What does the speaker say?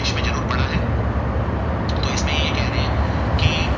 की